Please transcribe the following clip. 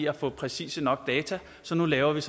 at få præcise nok data så nu laver man